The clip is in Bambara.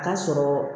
A ka sɔrɔ